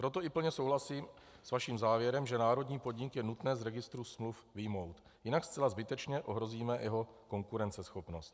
Proto i plně souhlasím s vaším závěrem, že národní podnik je nutné z registru smluv vyjmout, jinak zcela zbytečně ohrozíme jeho konkurenceschopnost.